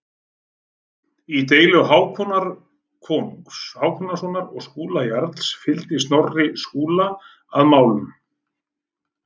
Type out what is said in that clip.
Í deilu Hákonar konungs Hákonarsonar og Skúla jarls fylgdi Snorri Skúla að málum.